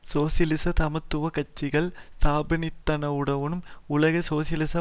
சோசியலிச சமத்துவ கட்சிகளை ஸ்தாபித்ததனூடாகவும் உலக சோசியலிச